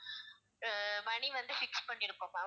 அஹ் money வந்து fix பண்ணி இருக்கோம் ma'am